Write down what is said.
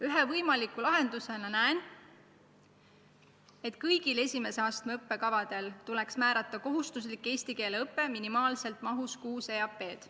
Ühe võimaliku lahendusena näen, et kõigi esimese astme õppekavade puhul tuleks määrata kohustuslik eesti keele õpe minimaalselt mahus kuus EAP-d.